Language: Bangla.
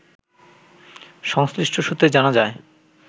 সংশ্লিষ্ট সূত্রে জানা যায়